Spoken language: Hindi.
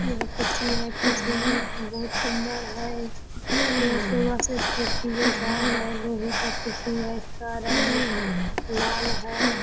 यह कुर्सी है कुर्सी बहुत सुंदर है यह सोफा सेट कुर्सी जैसा है लोहे का कुर्सी है इसका रंग लाल है ।